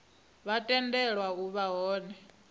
vha tendelwa u vha hone